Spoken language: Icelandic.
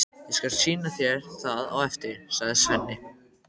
Ég skal sýna þér það á eftir, sagði Svenni.